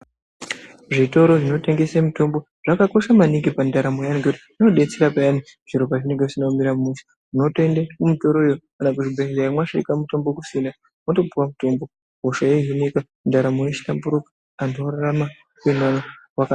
Zvitoro zvinotengese mitombo zvakakosha maningi pandaramo yevantu zvinobetsera peyani zviro pazvinenge zvisina kumira mushe . Motoende kuzvitoro iyoo kana kuzvibhedhleya masvika mitombo kusina moto piwa mutombo hosha yohinika ndaramo yohlamburuka antu orarama.